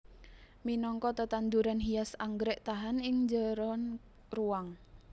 Minangka tetanduran hias anggrèk tahan ing njeron ruwang